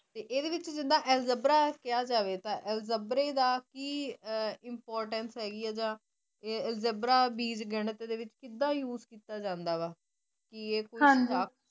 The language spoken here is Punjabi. ਇਦੇ ਵਿਚ ਐਲਜਬਰਾ ਕਿਹਾ ਜਾਵੇ ਤਾਂ ਐਲਜਬਰਾ ਦਾ ਕਿ importance ਹੈਗੀ ਜਾ ਐਲਜੈਬਰਾ ਬੀਜ ਗਣਿਤ ਦੇ ਵਿੱਚ ਕਿਦਾ use ਕੀਤਾ ਜਾਂਦਾ ਹਾਜੀ